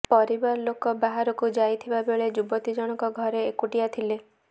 ପରିବାର ଲୋକ ବାହାରକୁ ଯାଇଥିବା ବେଳେ ଯୁବତୀ ଜଣକ ଘରେ ଏକୁଟିଆ ଥିଲେ